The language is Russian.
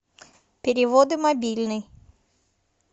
переводы мобильный